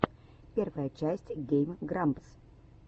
первая часть гейм грампс